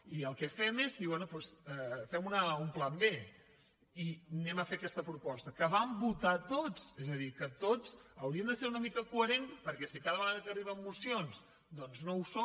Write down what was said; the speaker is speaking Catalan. i el que fem és dir bé doncs fem un pla b i fem aquesta proposta que vam votar tots és a dir que tots hauríem de ser una mica coherents perquè si cada vegada que arriben mocions no ho som